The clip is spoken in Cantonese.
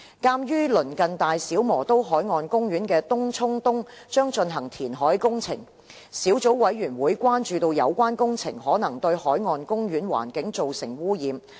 鑒於鄰近大小磨刀海岸公園的東涌東將進行填海工程，小組委員會關注有關工程可能對海岸公園環境造成污染。